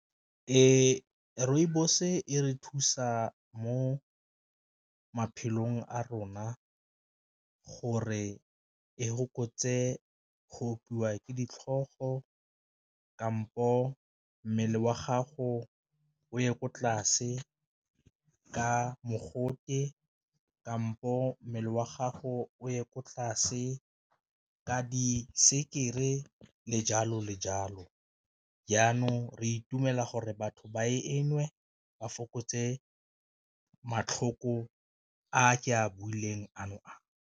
Ee, rooibos e re thusa mo maphelong a rona gore e fokotse go opiwa ke ditlhogo, kampo mmele wa gago o ye ko tlase ka mogote, kampo mmele wa gago o ye ko tlase ka di sekere le jalo le jalo, jaanong re itumela gore batho ba e nnwe ba fokotse matlhoko a ke a builweng ano a.